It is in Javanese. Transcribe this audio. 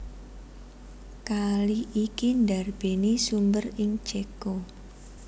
Kali iki ndarbèni sumber ing Céko